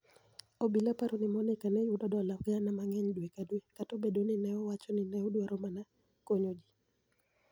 obila paro nii Moniicani e yudo dola gania manig'eniy dwe ka dwe, kata obedo nii ni e owacho nii ni e odwaro mania koniyo ji.